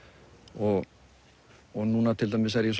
og og núna til dæmis er ég